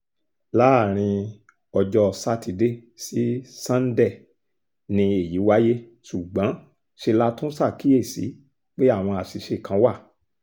láàrin ọjọ́ sátidé sí sánńdẹ ni èyí wáyé ṣùgbọ́n ṣe la tún ṣàkíyèsí pé àwọn àṣìṣe kan wà